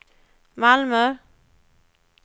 Malmö